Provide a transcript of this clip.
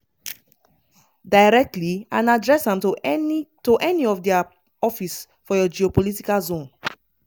directly and address am to any to any of dia office for your geopolitical zone.